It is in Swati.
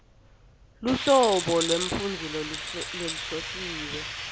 luhlobo lwemfundzi lohlosiwe